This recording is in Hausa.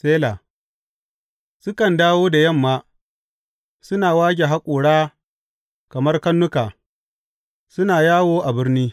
Sela Sukan dawo da yamma, suna wage haƙora kamar karnuka, suna yawo a birni.